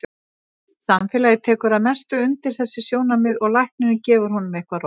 Samfélagið tekur að mestu undir þessi sjónarmið og læknirinn gefur honum eitthvað róandi.